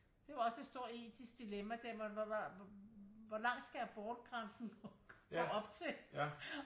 Det er jo også et stort etisk dilemma det hvor langt skal abortgrænsen gå op til